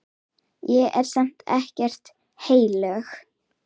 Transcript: Ég er samt ekkert heilög.